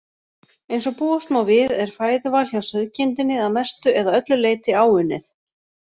Eins og búast má við er fæðuval hjá sauðkindinni að mestu eða öllu leyti áunnið.